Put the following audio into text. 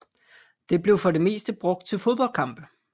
Det blev for det meste brugt til fodboldkampe